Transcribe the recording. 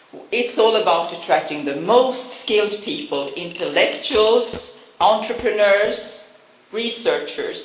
It is all about attracting the most skilled people intellectuals, entrepreneurs and researchers.